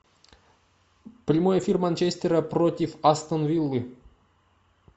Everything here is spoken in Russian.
прямой эфир манчестера против астон виллы